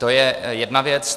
To je jedna věc.